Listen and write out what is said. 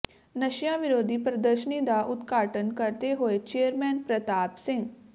ਨਸ਼ਿਆਂ ਵਿਰੋਧੀ ਪ੍ਰਦਰਸ਼ਨੀ ਦਾ ਉਦਘਾਟਨ ਕਰਦੇ ਹੋਏ ਚੇਅਰਮੈਨ ਪ੍ਰਤਾਪ ਸਿੰਘ